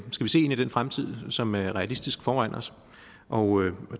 i den fremtid som er realistisk foran os og